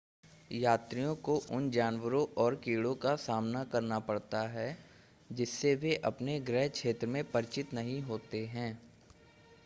यात्रियों को उन जानवरों और कीड़ों का सामना करना पड़ता है जिससे वे अपने गृह क्षेत्र में परिचित नहीं होते हैं